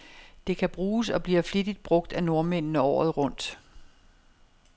Det kan bruges, og bliver flittigt brug af nordmændene, året rundt.